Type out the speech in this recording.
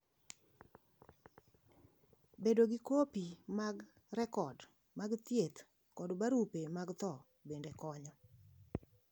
Bedo gi kopi mag rekod mag thieth kod barupe mag tho bende konyo.